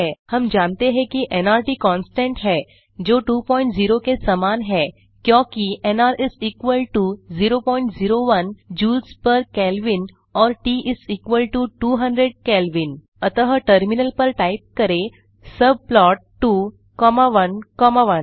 हम जानते हैं कि नर्त कॉंस्टेंट है जो 20 के समान है क्योंकि एनआर 001 जूल्स पेर केल्विन और ट 200 केल्विन अतः टर्मिनल पर टाइप करें सबप्लॉट 2 कॉमा 1 कॉमा 1